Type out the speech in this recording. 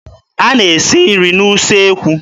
A na-esi nri n'usekwu.